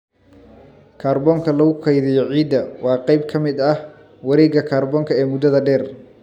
Kaarboonka lagu kaydiyo ciidda waa qayb ka mid ah wareegga kaarboonka ee muddada dheer.